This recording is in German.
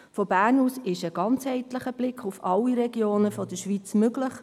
Von Bern aus ist ein ganzheitlicher Blick auf alle Regionen der Schweiz möglich.